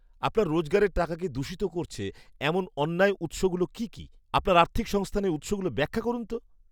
আপনার রোজগারের টাকাকে দূষিত করছে এমন অন্যায় উৎসগুলো কী কী? আপনার আর্থিক সংস্থানের উৎসগুলো ব্যাখ্যা করুন তো।